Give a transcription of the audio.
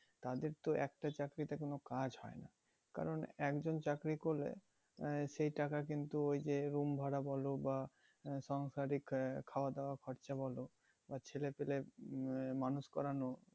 তাদের তো একটা চাকরিতে কোনো কাজ হয় না। কারণ একজন চাকরি করলে মানে সেই টাকা কিন্তু ওই যে room ভাড়া বলো বা সাংসারিক আহ খাওয়া দাওয়া খরচা বলো আর ছেলে পেলে নিয়ে মানুষ করানো।